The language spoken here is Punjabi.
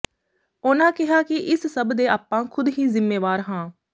ਉਨ੍ਹਾਂ ਕਿਹਾ ਕਿ ਇਸ ਸਭ ਦੇ ਆਪਾਂ ਖੁਦ ਹੀ ਜਿੰਮੇਵਾਰ ਹਾਂ